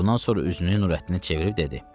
Bundan sonra üzünü Nurəddinə çevirib dedi: